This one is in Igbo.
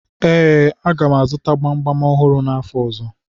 Ee, a ga m azụta gbamgbam ọhụrụ n'afọ ọzọ.